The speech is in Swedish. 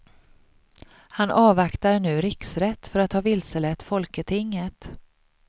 Han avvaktar nu riksrätt för att ha vilselett folketinget.